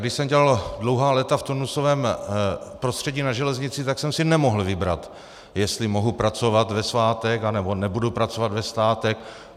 Když jsem dělal dlouhá léta v turnusovém prostředí na železnici, tak jsem si nemohl vybrat, jestli mohu pracovat ve svátek, anebo nebudu pracovat ve svátek.